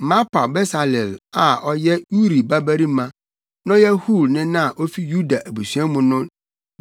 “Mapaw Besaleel a ɔyɛ Uri babarima na ɔyɛ Hur nena a ofi Yuda abusua mu no